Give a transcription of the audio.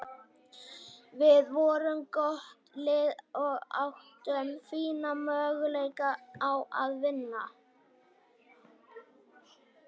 Við vorum gott lið og áttum fína möguleika á að vinna.